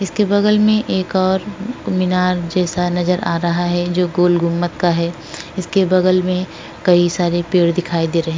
इसके बगल में एक और मीनार जैसा नजर आ रहा है जो गोल गुंबद का है। इसके बगल में कई सारे पेड़ दिखाई दे रहे--